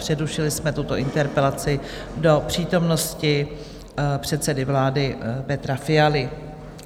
Přerušili jsme tuto interpelaci do přítomnosti předsedy vlády Petra Fialy.